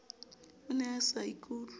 o ne a sa ikutlwe